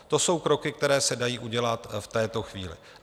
To jsou kroky, které se dají udělat v této chvíli.